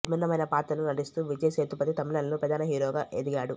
విభిన్నమైన పాత్రలలో నటిస్తూ విజయ్ సేతుపతి తమిళంలో ప్రధాన హీరోగా ఎదిగాడు